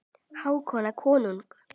Hákon konung.